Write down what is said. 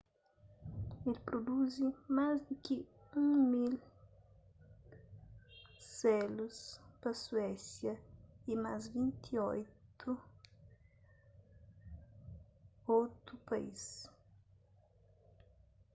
el produzi más di ki 1.000 selus pa suésia y más 28 otu país